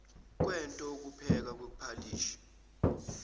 kwento ukuphekwa kwephalishi